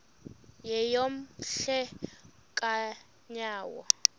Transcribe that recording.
yeyom hle kanyawo